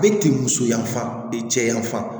Bɛ ti muso yanfan ni cɛ yanfan